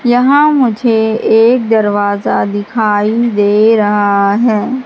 यहां मुझे एक दरवाजा दिखाई दे रहा है।